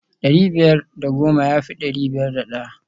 dari biyar da goma ya fi dari biyar da daya